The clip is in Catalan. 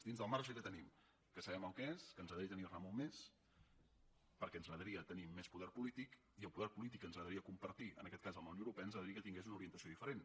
dins del marge que tenim que sabem que és el que és i que ens agradaria tenir ne molt més perquè ens agradaria tenir més poder polític i el poder polític que ens agradaria compartir en aquest cas amb la unió europea ens agradaria que tingués una orientació diferent